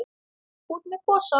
Út með gosann!